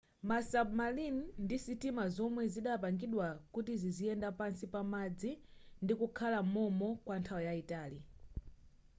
ma submarine ndi sitima zomwe zidapangidwa kuti ziziyenda pansi pa madzi ndikukhala mom'mo kwa nthawi yaitali